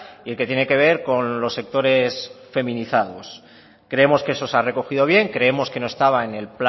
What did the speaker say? y que tiene que ver con los sectores feminizados creemos que esto se ha recogido bien creemos que no estaba